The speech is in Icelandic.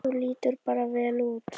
Þú lítur bara vel út!